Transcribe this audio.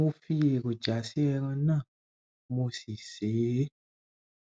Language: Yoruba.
mo fi èròjà sí ẹran náà mo si sè é